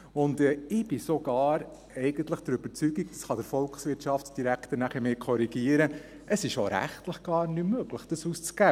Ich bin sogar der Überzeugung – der Volkswirtschaftsdirektor kann mich nachher korrigieren –, dass es auch rechtlich nicht möglich ist, dies auszugeben.